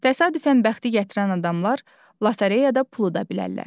Təsadüfən bəxti gətirən adamlar lotereyada pul uda bilərlər.